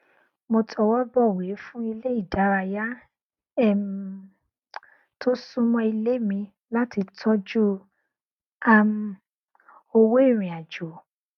mo tọwọbọwé fún ilé ìdárayá um tó súnmọ ilé mi láti tọjú um owó ìrìn àjò